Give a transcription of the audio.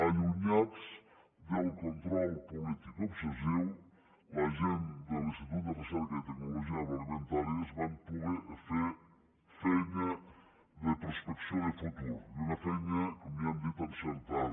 allunyats del control polític obsessiu la gent de l’institut de recerca i tecnologia agroalimentàries van poder fer feina de prospecció de futur i una feina com ja hem dit encertada